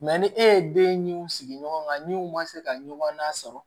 ni e ye denw sigi ɲɔgɔn kan ni u ma se ka ɲɔgɔn nasɔrɔ